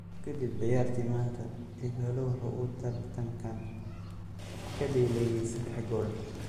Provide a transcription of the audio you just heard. Kadib ciyaartii maanta, Ighalo waxa uu tartankan ka dhaliyay saddex gool.